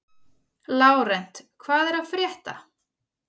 Lárent, hvað er að frétta?